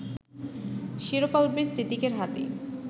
শিরোপা উঠবে সিদ্দিকের হাতেই